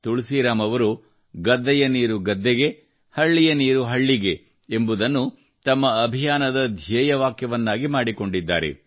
ತುಳಸಿರಾಮ್ ಅವರು ಗದ್ದೆಯ ನೀರು ಗದ್ದೆಗೆ ಹಳ್ಳಿಯ ನೀರು ಹಳ್ಳಿಗೆ ಎಂಬುದನ್ನು ತಮ್ಮ ಅಭಿಯಾನದ ಧ್ಯೇಯವಾಕ್ಯವನ್ನಾಗಿ ಮಾಡಿಕೊಂಡಿದ್ದಾರೆ